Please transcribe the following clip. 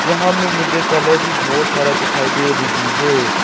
यहां में मुझे कलर भी बहोत सारा दिखाई दे रही है।